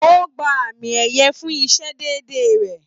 O gbà àmi ẹyẹ fún isé déédé rẹ.